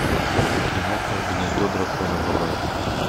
киноха гнездо дракона врубай